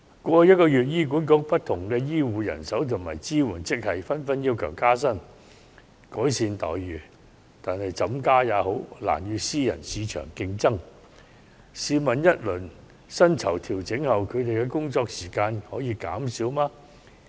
過去一個月，醫管局不同醫護和支援職系人員紛紛要求加薪，改善待遇，但怎樣加薪，他們的待遇也難與私人市場競爭，因為試問在薪酬調整後，他們的工作時間可以減少嗎？